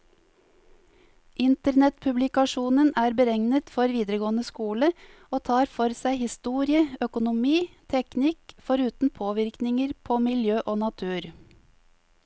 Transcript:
Internettpublikasjonen er beregnet for videregående skole, og tar for seg historie, økonomi, teknikk, foruten påvirkninger på miljø og natur.